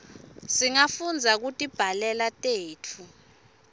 singafunda kutibhalela tetfu